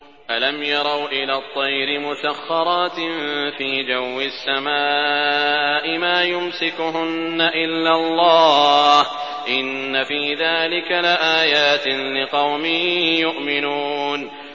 أَلَمْ يَرَوْا إِلَى الطَّيْرِ مُسَخَّرَاتٍ فِي جَوِّ السَّمَاءِ مَا يُمْسِكُهُنَّ إِلَّا اللَّهُ ۗ إِنَّ فِي ذَٰلِكَ لَآيَاتٍ لِّقَوْمٍ يُؤْمِنُونَ